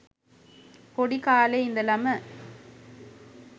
පොඩි කාලෙ ඉඳලම